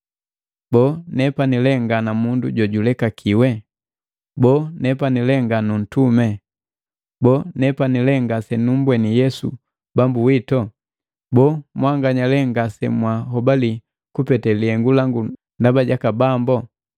Boo, nepani lee nga na mundu jojulekakiwe? Boo, nepani lee nga nuntumi? Boo, nepani lee ngasenumbweni Yesu Bambu wito? Boo, mwanganya lee ngasemwahobali kupete lihengu langu ndaba jaka Bambo?